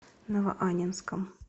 новоаннинском